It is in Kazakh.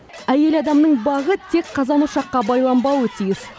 әйел адамның бағы тек қазан ошаққа байланбауы тиіс